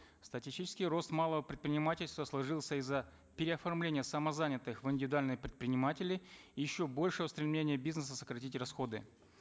статистичекий рост малого предпринимательства сложился из за переоформления самозанятых в индивидуальные предприниматели еще большего стремления бизнеса сократить расходы